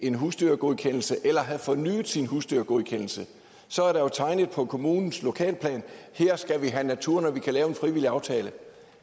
en husdyrgodkendelse eller have fornyet sin husdyrgodkendelse så er der jo tegnet på kommunens lokalplan her skal vi have natur når vi kan lave en frivillig aftale